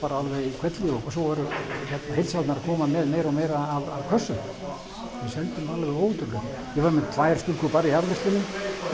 alveg í hvelli svo voru heildsalarnir að koma með meira og meira af kössum við seldum alveg ótrúlegt við vorum með tvær stúlkur bara í afgreiðslunni